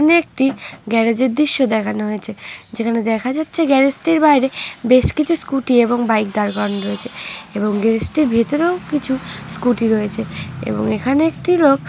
একটি গ্যারেজ এর দৃশ্য দেখানো হয়েছে যেখানে দেখা যাচ্ছে গ্যারেজ টির বাইরে বেশ কিছু স্কুটি এবং বাইক দার করানো রয়েছে এবং গ্যারেজ টির ভিতরেও কিছু স্কুটি রয়েছে এবং এখানে একটি লোক